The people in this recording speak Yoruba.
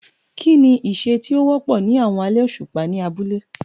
Kí ni iṣẹ́ tí ó wọ́pọ̀ ní àwọn alẹ́ òṣùpá ní abúlé?